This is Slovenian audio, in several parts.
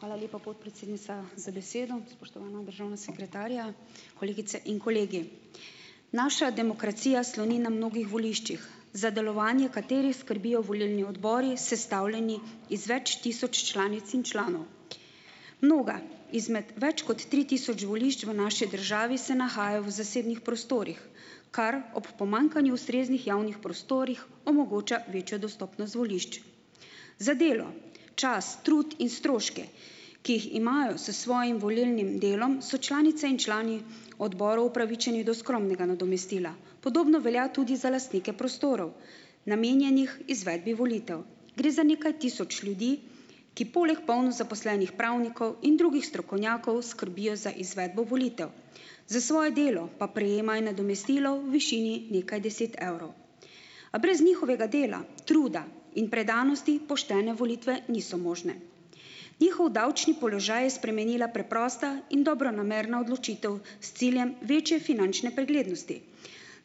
Hvala lepa, podpredsednica, za besedo. državna sekretarja, kolegice in kolegi! Naša demokracija sloni na mnogih voliščih, za delovanje katerih skrbijo volilni odbori, sestavljeni iz več tisoč članic in članov. Mnoga izmed več kot tri tisoč volišč v naši državi se nahajajo v zasebnih prostorih, kar ob pomanjkanju ustreznih javnih prostorih omogoča večjo dostopnost volišč. Za delo, čas, trud in stroške, ki jih imajo s svojim volilnim delom, so članice in člani odborov upravičeni do skromnega nadomestila. Podobno velja tudi za lastnike prostorov, namenjenih izvedbi volitev. Gre za nekaj tisoč ljudi, ki poleg polno zaposlenih pravnikov in drugih strokovnjakov skrbijo za izvedbo volitev, za svoje delo pa prejemajo nadomestilo v višini nekaj deset evrov A brez njihovega dela, truda in predanosti poštene volitve niso možne. Njihov davčni položaj je spremenila preprosta in dobronamerna odločitev s ciljem večje finančne preglednosti,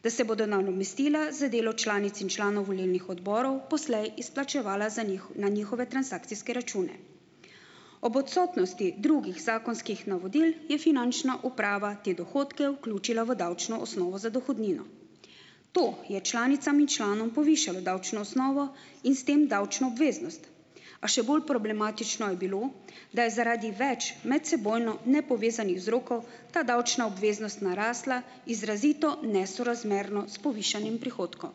da se bodo nadomestila za delo članic in članov volilnih odborov poslej izplačevala za na njihove transakcijske račune. Ob odsotnosti drugih zakonskih navodil, je finančna uprava te dohodke vključila v davčno osnovo za dohodnino. To je članicam in članom povišalo davčno osnovo in s tem davčno obveznost, a še bolj problematično je bilo, da je zaradi več medsebojno nepovezanih vzrokov ta davčna obveznost narasla izrazito nesorazmerno s povišanjem prihodkov.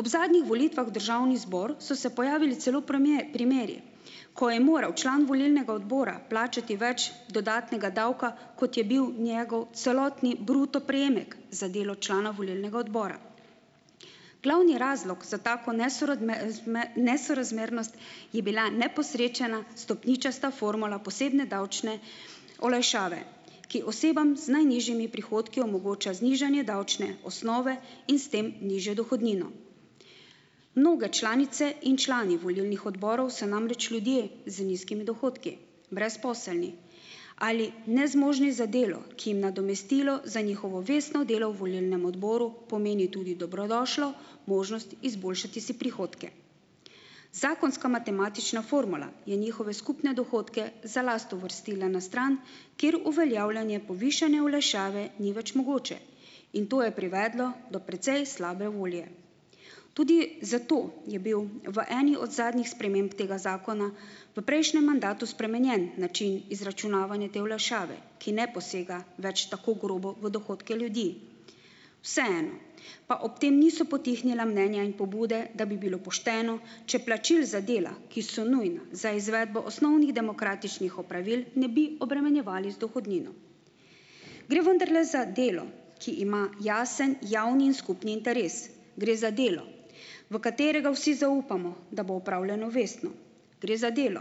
Ob zadnjih volitvah v državni zbor so se pojavili celo primeri, ko je moral član volilnega odbora plačati več dodatnega davka, kot je bil njegov celotni bruto prejemek za delo člana volilnega odbora. Glavni razlog za tako nesorazmernost je bila neposrečena stopničasta formula posebne davčne olajšave, ki osebam z najnižjimi prihodki omogoča znižanje davčne osnove in s tem nižjo dohodnino. Mnoge članice in člani volilnih odborov so namreč ljudje z nizkimi dohodki. Brezposelni. Ali nezmožni za delo, ki jim nadomestilo za njihovo vestno delo v volilnem odboru pomeni tudi dobrodošlo možnost izboljšati si prihodke. Zakonska matematična formula je njihove skupne dohodke za last uvrstila na stran, kjer uveljavljanje povišane olajšave ni več mogoče. In to je privedlo do precej slabe volje. Tudi zato je bil v eni od zadnjih sprememb tega zakona v prejšnjem mandatu spremenjen način izračunavanja te olajšave, ki ne posega več tako grobo v dohodke ljudi. Vseeno pa ob tem niso potihnila mnenja in pobude, da bi bilo pošteno, če plačil za dela, ki so nujna za izvedbo osnovnih demokratičnih opravil, ne bi obremenjevali z dohodnino. Gre vendarle za delo, ki ima jasen javni in skupni interes. Gre za delo, v katerega vsi zaupamo, da bo opravljeno vestno. Gre za delo,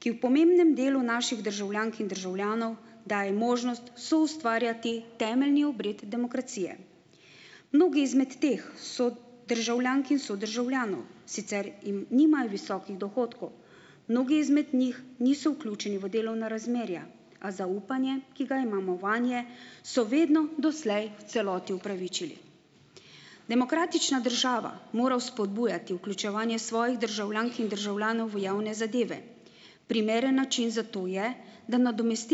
ki v pomembnem delu naših državljank in državljanov daje možnost soustvarjati temeljni obred demokracije. Mnogi izmed teh so državljank in sodržavljanov sicer, nimajo visokih dohodkov. Mnogi izmed njih niso vključeni v delovna razmerja, a zaupanje, ki ga imamo vanje, so vedno doslej v celoti upravičili. Demokratična država mora vzpodbujati vključevanje svojih državljank in državljanov v javne zadeve. Primeren način za to je, da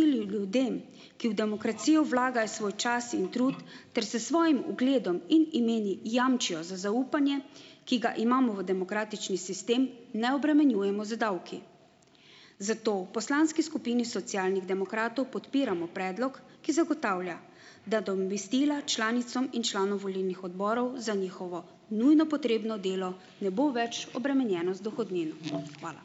ljudem, ki v demokracijo vlagajo svoj čas in trud ter s svojim ugledom in imeni jamčijo za zaupanje, ki ga imamo v demokratični sistem, ne obremenjujemo z davki. Zato v poslanski skupini Socialnih demokratov podpiramo predlog, ki zagotavlja, da članicam in članom volilnih odborov za njihovo nujno potrebno delo ne bo več obremenjeno z dohodnino. Hvala.